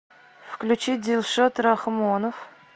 включи дилшод рахмонов